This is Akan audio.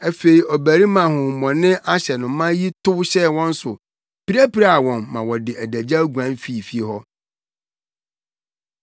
Afei ɔbarima a honhommɔne ahyɛ no ma yi tow hyɛɛ wɔn so, pirapiraa wɔn ma wɔde adagyaw guan fii fie hɔ.